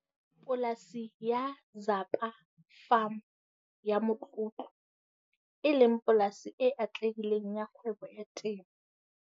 Polasi ya Zapa Farm ya motlotlo, e leng polasi e atlehileng ya kgwebo ya temo.